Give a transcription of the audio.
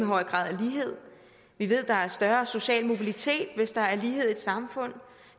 høj grad af lighed vi ved at der er større social mobilitet hvis der er lighed i et samfund